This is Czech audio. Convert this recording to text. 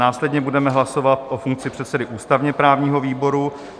Následně budeme hlasovat o funkci předsedy ústavně-právního výboru.